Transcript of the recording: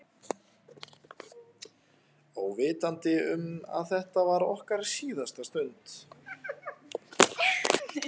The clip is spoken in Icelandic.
Óvitandi um að þetta var okkar síðasta stund.